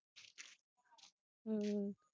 ਹੁ